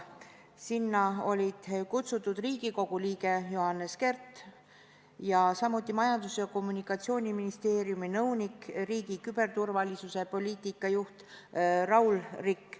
Sinna olid kutsutud Riigikogu liige Johannes Kert ning Majandus- ja Kommunikatsiooniministeeriumi nõunik, riigi küberturvalisuse poliitika juht Raul Rikk.